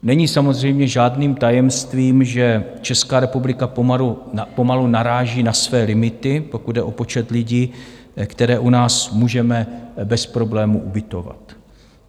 Není samozřejmě žádným tajemstvím, že Česká republika pomalu naráží na své limity, pokud jde o počet lidí, které u nás můžeme bez problémů ubytovat.